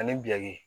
Ani biyen